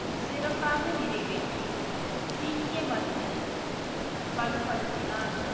சிறப்பாக நிறைவேற்றி சீக்கிய மதத்தை வலுப்படுத்தினார்